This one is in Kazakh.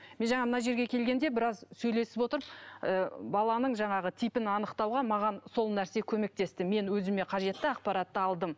мен жаңа мына жерге келгенде біраз сөйлесіп отырып ы баланың жаңағы типін анықтауға маған сол нәрсе көмектесті мен өзіме қажетті ақпаратты алдым